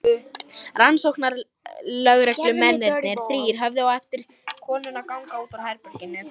Rannsóknarlögreglumennirnir þrír horfðu á eftir konunum ganga út úr herberginu.